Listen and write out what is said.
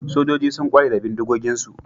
Sojoji sun kware da bindigoginsu